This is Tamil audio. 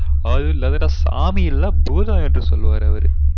All is சாமி இல்ல பூதம் என்று சொல்லுவார் அவரு